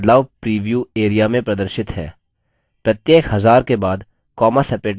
ध्यान दें कि बदलाव प्रीव्यू area में प्रदर्शित है